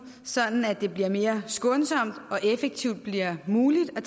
sådan at det bliver mere skånsomt og effektivt bliver muligt at